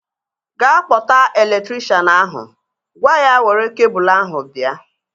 Ga kpọta elektrikshan ahu! Gwa ya were kebul ahu bịa